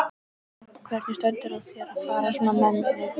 Hvernig stendur á þér að fara svona með þig?